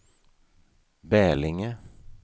Bälinge